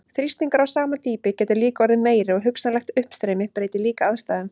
Þrýstingur á sama dýpi getur líka orðið meiri og hugsanlegt uppstreymi breytir líka aðstæðum.